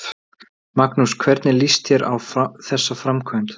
Magnús: Hvernig líst þér á þessa framkvæmd?